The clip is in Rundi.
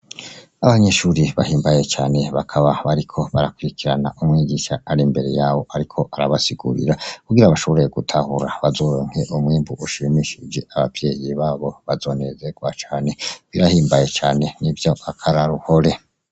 Abanyeshuri bahimbaye cane bakaba bariko bariko barakurirana umwigisha ar'imbere yabo ariko ararbasigurira kugira bazoshobore gutahura bazoronke umwimbu ushimishije, abavyeyi babo bazonerwa cane, birahimbaye n'ivyakaroruhore.